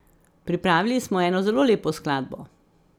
Pripravili smo eno zelo lepo skladbo.